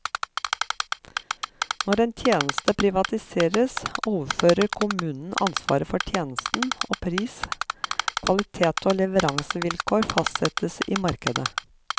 Når en tjeneste privatiseres, overfører kommunen ansvaret for tjenesten, og pris, kvalitet og leveransevilkår fastsettes i markedet.